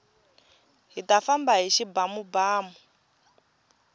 hita famba hi xibamubamu